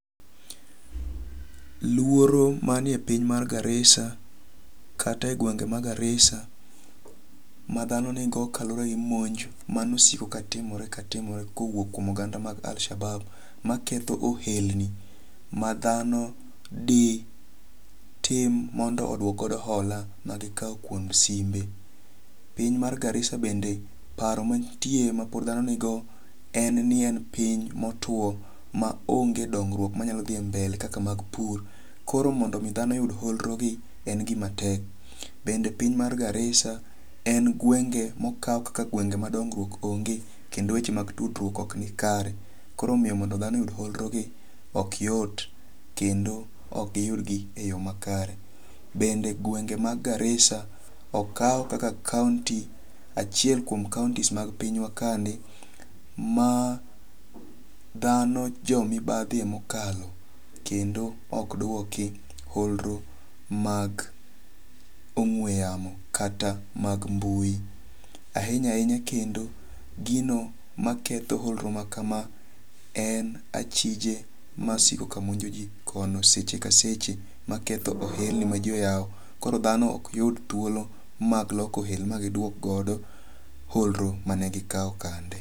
Luoro mani e piny mar Garissa kata e gwenge ma Garissa madhano ni go kaluwore gi monj mane osiko katimore katimore kowuok kuom oganda mag Al Shabab maketho ohelni madhano ditim mondo oduok godo hola magikaw kuom simbe. Piny mar Garissa bende paro mantie ma pod dhano nigo en ni en piny motuo ma onge dongruok manyalo dhi mbele kaka mag pur. Koro mondo mi dhano oyud holro gi en gima tek. Bende piny mar Garissa en gwenge mokaw kaka gwenge ma dongruok onge kendo weche mag tudruok ok ni kare. Koro miyo mondo dhano oyud holro gi ok yot kendo ok giyud gi eyo makare. Bende gwenge mag Garissa okaw kaka kaunti achiel kuom kauntis mag pinya wa kandi ma dhano jomibadhi e mokalo. Kendo ok duoki holro mag ong'we yamo kata mag mbui. Ahinya ahinya kendo gino maketho holro ma kama en achije masiko ka monjoji kono seche ka seche maketho ohelni ma ji oyaw. Koro dhano ok yud thuolo mag loko ohelni ma giduok godo holro mane gikao kande.